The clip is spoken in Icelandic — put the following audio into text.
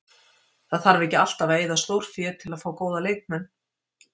Það þarf ekki alltaf að eyða stórfé til að fá góða leikmenn.